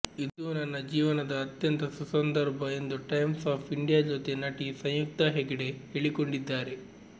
ಇದು ನನ್ನ ಜೀವನದ ಅತ್ಯಂತ ಸುಸದಂರ್ಭ ಎಂದು ಟೈಮ್ಸ್ ಆಫ್ ಇಂಡಿಯಾ ಜೊತೆ ನಟಿ ಸಂಯುಕ್ತಾ ಹೆಗ್ಡೆ ಹೇಳಿಕೊಂಡಿದ್ದಾರೆ